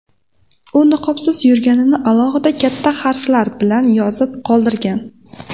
U niqobsiz yurganini alohida, katta harflar bilan yozib qoldirgan.